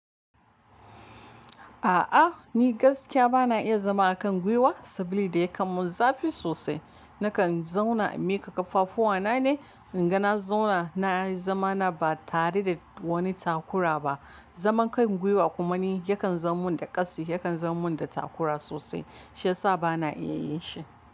A'a ni gaskiya bana iya zama a kan gwiwa saboda yakan mun zafi sosai. Nakan zauna in miƙa ƙaffafu wa na ne, in ga na zauna na yi zamana ba tare da wani takura ba. Zaman kai gwiwa kuma ni yakan zamin da ƙasi, yakan zamin da takura sosai shiyasa bana iya yin shi.